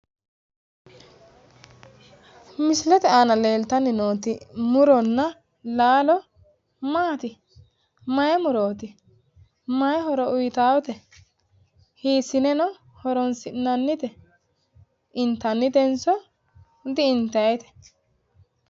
misilete aana leeltanni nooti muronna laalo maati? mayi murooti? mayi horo uyiitaate? hiissineno horonsi'nannite? intannitenso di intannite?